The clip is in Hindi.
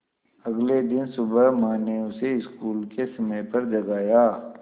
अगले दिन सुबह माँ ने उसे स्कूल के समय पर जगाया